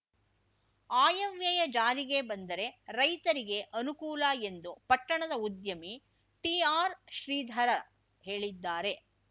ಆಯವ್ಯಯ ಜಾರಿಗೆ ಬಂದರೆ ರೈತರಿಗೆ ಅನುಕೂಲ ಎಂದು ಪಟ್ಟಣದ ಉದ್ಯಮಿ ಟಿಆರ್‌ ಶ್ರೀಧರ್‌ ಹೇಳಿದ್ದಾರೆ